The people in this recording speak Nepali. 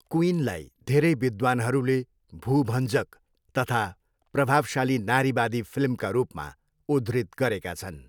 क्विनलाई धेरै विद्वानहरूले भूभञ्जक तथा प्रभावशाली नारीवादी फिल्मका रूपमा उद्धृत गरेका छन्।